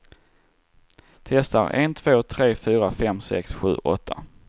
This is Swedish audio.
Testar en två tre fyra fem sex sju åtta.